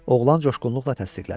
oğlan coşğunluqla təsdiqlədi.